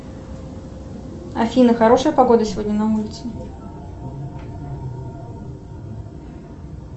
афина хорошая погода сегодня на улице